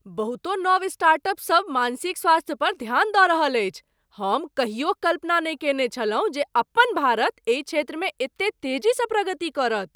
बहुतो नव स्टार्टअप सभ मानसिक स्वास्थ्य पर ध्यान दऽ रहल अछि! हम कहियो कल्पनो नहि कयने छलहुँ जे अपन भारत एहि क्षेत्रमे एते तेजीसँ प्रगति करत।